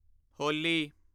ਹੋਲੀ